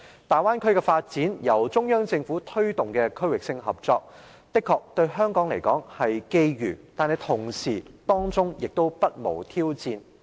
大灣區的發展是由中央政府推動的區域性合作，對香港來說的確是機遇，但同時當中亦不無挑戰。